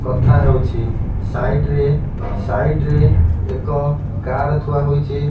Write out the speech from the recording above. କଥାହେଉଚି site ରେ site ରେ ଏକ କାର ଥୁଆ ହେଇଚି।